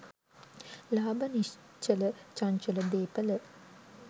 ලාභ, නිශ්චල චංචල දේපළ